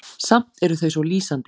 Samt eru þau svo lýsandi.